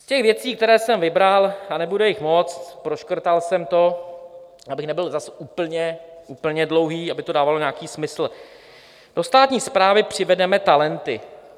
Z těch věcí, které jsem vybral - a nebude jich moc, proškrtal jsem to, abych nebyl zas úplně dlouhý, aby to dávalo nějaký smysl: "Do státní správy přivedeme talenty."